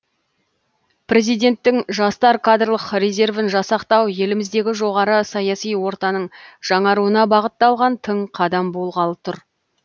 президенттің жастар кадрлық резервін жасақтау еліміздегі жоғары саяси ортаның жаңаруына бағытталған тың қадам болғалы тұр